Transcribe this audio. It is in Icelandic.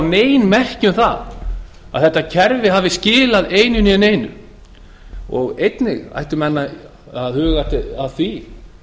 nein merki um það að þetta kerfi hafi skilað einu né neinu einnig ættu menn að huga að því